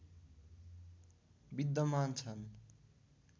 विद्यमान छन्